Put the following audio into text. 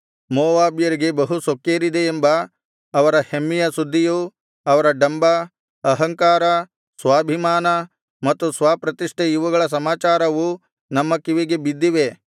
ಮೋವಾಬ್ಯರಿಗೆ ಬಹು ಸೊಕ್ಕೇರಿದೆ ಎಂಬ ಅವರ ಹೆಮ್ಮೆಯ ಸುದ್ದಿಯೂ ಅವರ ಡಂಭ ಅಹಂಕಾರ ಸ್ವಾಭಿಮಾನ ಮತ್ತು ಸ್ವಪ್ರತಿಷ್ಠೆ ಇವುಗಳ ಸಮಾಚಾರವೂ ನಮ್ಮ ಕಿವಿಗೆ ಬಿದ್ದಿವೆ